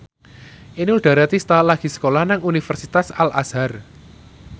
Inul Daratista lagi sekolah nang Universitas Al Azhar